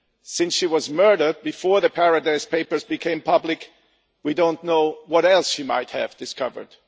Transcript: Since she was murdered before the Paradise Papers became public, we do not know what else she might have discovered.